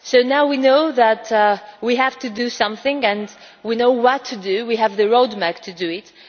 Now we know that we have to do something, and we know what to do we have the road map to do it.